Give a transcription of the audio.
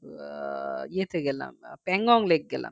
আহ ইয়েতে গেলাম Pangonglake গেলাম